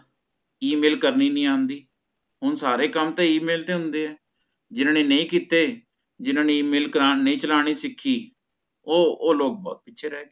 email ਕਰਨੀ ਨੀ ਆਂਦੀ ਹੋਣ ਸਾਰੇ ਕਮ ਤਹ email ਤੇ ਹੋਂਦਾ ਹੈ ਜਿਨਾ ਨੇ ਨਹੀ ਕੀਤੇ ਜੀਨੇ ਨੇ email ਕਰਨ ਚਲਾਣ ਨਹੀ ਸਿਖੀ ਓਹ ਓਹ ਲੋਗ ਪਿਛੇ ਰਹ੍ਗੇ ਹਾਂਜੀ ਠੀਕ ਹੈ ਨਾ